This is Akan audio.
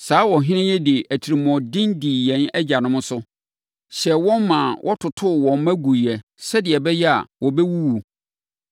Saa ɔhene yi de atirimuɔden dii yɛn agyanom so, hyɛɛ wɔn maa wɔtotoo wɔn mma guiɛ sɛdeɛ ɛbɛyɛ a wɔbɛwuwu.